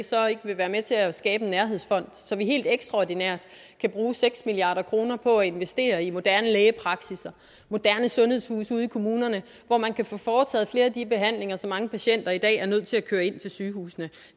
så ikke vil være med til at skabe en nærhedsfond så vi helt ekstraordinært kan bruge seks milliard kroner på at investere i moderne lægepraksisser og moderne sundhedshuse ude i kommunerne hvor man kan få foretaget flere af de behandlinger som mange patienter i dag er nødt til at køre ind til sygehusene